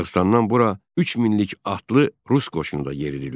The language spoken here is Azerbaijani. Dağıstandan bura 3 minlik atlı rus qoşunu da yeridildi.